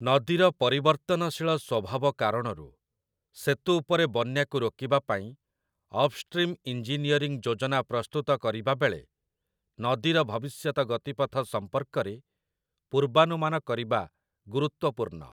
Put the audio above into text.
ନଦୀର ପରିବର୍ତ୍ତନଶୀଳ ସ୍ୱଭାବ କାରଣରୁ, ସେତୁ ଉପରେ ବନ୍ୟାକୁ ରୋକିବା ପାଇଁ ଅପ୍‌ଷ୍ଟ୍ରିମ ଇଞ୍ଜିନିୟରିଂ ଯୋଜନା ପ୍ରସ୍ତୁତ କରିବାବେଳେ ନଦୀର ଭବିଷ୍ୟତ ଗତିପଥ ସମ୍ପର୍କରେ ପୂର୍ବାନୁମାନ କରିବା ଗୁରୁତ୍ୱପୂର୍ଣ୍ଣ ।